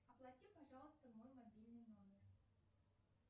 оплати пожалуйста мой мобильный номер